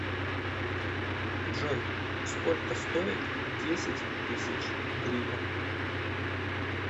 джой сколько стоит десять тысяч гривен